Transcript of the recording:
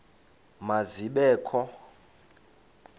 ma zibe kho